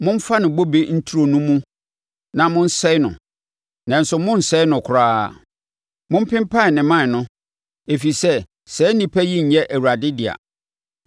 “Momfa ne bobe nturo no mu na monsɛe no, nanso monnsɛe no koraa. Mompempan ne mman no, ɛfiri sɛ saa nnipa yi nyɛ Awurade dea.